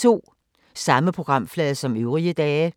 Samme programflade som øvrige dage